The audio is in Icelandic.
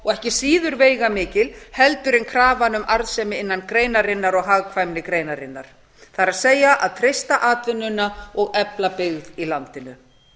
og ekki síður veigamikil heldur en krafan um arðsemi innan greinarinnar og hagkvæmni greinarinnar það er að treysta atvinnuna og efla byggð í landinu